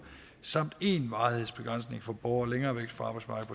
samt en varighedsbegrænsning for borgere længere væk fra arbejdsmarkedet